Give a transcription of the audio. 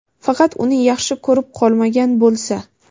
faqat uni yaxshi ko‘rib qolmagan bo‘lsa..